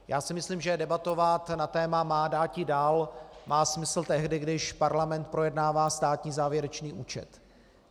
Já si myslím, že debatovat na téma má dáti - dal má smysl tehdy, když parlament projednává státní závěrečný účet.